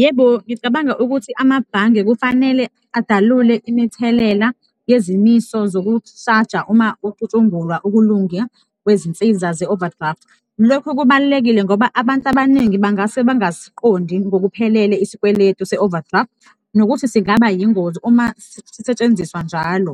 Yebo, ngicabanga ukuthi amabhange kufanele adalule imithelela yezimiso zokushaja uma ucutshungulwa ukulunge kwezinsiza ze-overdraft. Lokho kubalulekile ngoba abantu abaningi bangase bangasiqondi ngokuphelele isikweletu se-overdraft nokuthi singabayingozi uma sisetshenziswa njalo.